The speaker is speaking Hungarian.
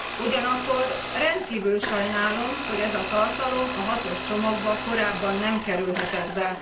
Ugyanakkor rendkívül sajnálom, hogy ez a tartalom a hatos csomagba korábban nem kerülhetett be.